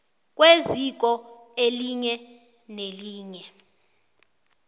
kweziko elinye nelinye